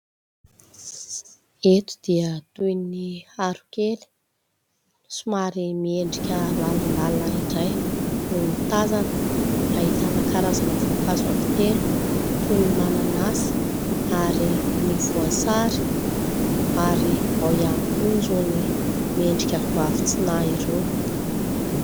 Eto dia toy ny haron-kely somary miendrika lalindalina indray no tazana. Ahitana karazana voankazo anankitelo toy ny mananasy ary ny voasary, ary ao ihany koa irony miendrika goavy tsy nahy irony.